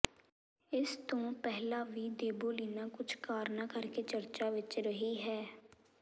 ਇਸ ਤੋਂ ਪਹਿਲਾਂ ਵੀ ਦੇਬੋਲੀਨਾ ਕੁਝ ਕਾਰਨਾਂ ਕਰਕੇ ਚਰਚਾ ਵਿੱਚ ਰਹੀ ਹੈ